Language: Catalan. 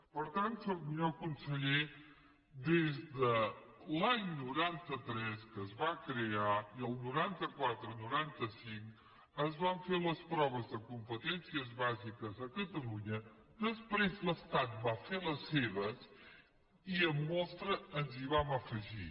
per tant senyor conseller des de l’any noranta tres que es va crear i el noranta quatre noranta cinc es van fer les proves de competències bàsiques a catalunya després l’estat va fer les seves i amb mostra ens hi vam afegir